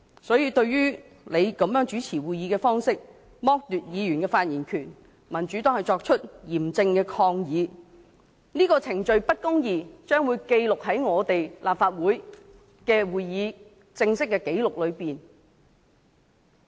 所以，對於你這種主持會議的方式，剝奪議員的發言權，民主黨作出嚴正抗議，這個程序不公義，將會記錄在立法會會議過程正式紀錄裏。